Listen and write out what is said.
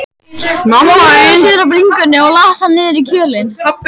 Klóraði sér á bringunni og las hann niður í kjölinn.